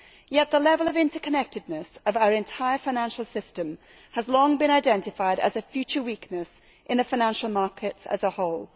Yet the level of interconnectedness of our entire financial system has long been identified as a future weakness in the financial markets as a whole.